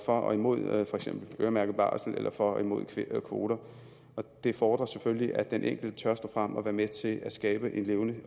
og imod for eksempel øremærket barsel eller for og imod kvoter og det fordrer selvfølgelig at den enkelte tør stå frem og være med til at skabe en levende